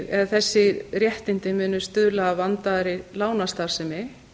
eða þessi réttindi muni stuðla að vandaðri lánastarfsemi